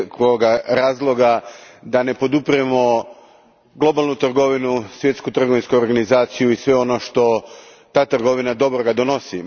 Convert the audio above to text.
Nema nikakvoga razloga da ne podupiremo globalnu trgovinu, Svjetsku trgovinsku organizaciju i sve ono što ta trgovina dobroga donosi.